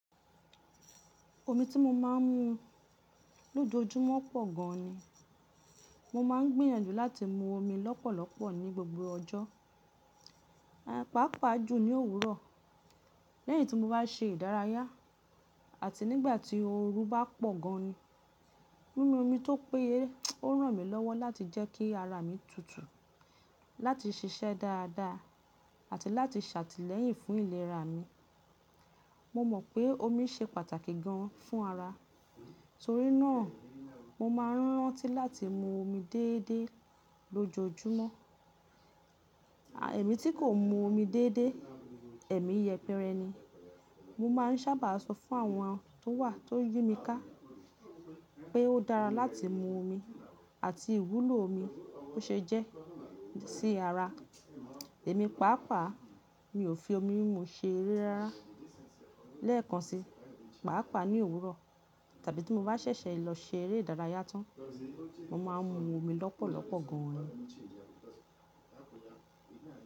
Omi tí mo máa ń mu lójoojúmọ́ pọ̀ gan ni. Mo máa ń gbìyànjú láti mu omi lọ́pọ̀lọpọ̀ ní gbogbo ọjọ́, pàápàá jù ní òwúrọ̀ lẹ́yìn tí mo bá se ìdárayá àti nígbà tí ooru bá pọ̀ gan ni. Mímú omi tó péye ó ràn mí lọ́wọ́ láti jẹ́ kí ara mi tutù, láti ṣiṣẹ́ dáadáa àti láti ṣàtìlẹyìn fún ìlera mi. Mo mọ̀ pé omi ṣe pàtàkì gan fún ara, torí náà mo máa ń rántí láti mu omi déédéé lójoojúmọ́. Ẹ̀mí tí kò mu omi déédéé, ẹ̀mí yẹpẹrẹ ni. Mo máa ń sábà sọ fún àwọn tó wà tó yí mi ká pé ó dára láti mu omi àti ìwúlò omi tó ṣe jẹ́ sí ara. Èmi pàápàá mi ò fi omi mimu ṣe eré rárá. Lẹ́ẹ̀kan si, pàápàá ní òwúrọ̀ tàbí tí mo bá ṣẹ̀ṣẹ̀ lọ ṣe eré ìdárayá tán, mo máa ń mu omi lọ́pọ̀lọpọ̀ gan ni.